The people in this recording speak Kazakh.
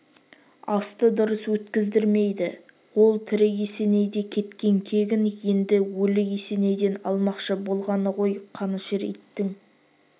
асты дұрыс өткіздірмейді ол тірі есенейде кеткен кегін енді өлі есенейден алмақшы болғаны ғой қанішер иттің